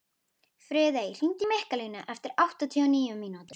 Friðey, hringdu í Mikkalínu eftir áttatíu og níu mínútur.